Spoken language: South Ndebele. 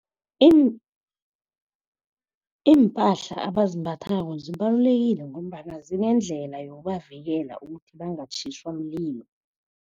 Iimpahla abazimbathako zibalulekile ngombana zinendlela yokubavikela ukuthi bangatjhiswa mlilo.